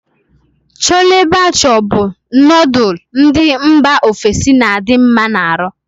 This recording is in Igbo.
Chole bhature bu nodul ndi mba ofesi n'adi nma n'aru